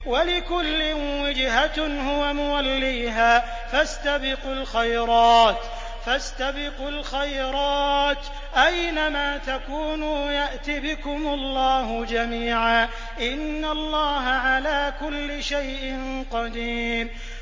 وَلِكُلٍّ وِجْهَةٌ هُوَ مُوَلِّيهَا ۖ فَاسْتَبِقُوا الْخَيْرَاتِ ۚ أَيْنَ مَا تَكُونُوا يَأْتِ بِكُمُ اللَّهُ جَمِيعًا ۚ إِنَّ اللَّهَ عَلَىٰ كُلِّ شَيْءٍ قَدِيرٌ